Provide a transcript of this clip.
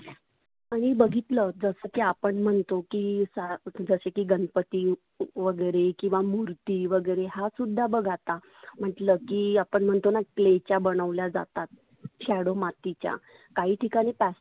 आणि बघितल जस की आपण म्हणतो की सा जसे की गणपती वगैरे किंवा मुर्ती वगैरे हा सुद्धा बघ आता. म्हटल की आपण म्हणतो ना clay च्या बनवल्या जातात. shadow मातीच्या काही ठिकाणी पा